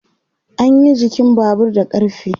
anyi jikin Babur da ƙarfe